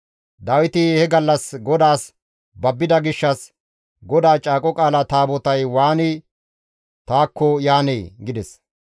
Dawiti he gallas GODAAS babbida gishshas, «GODAA Caaqo Qaala Taabotay waani taakko yaanee?» gides.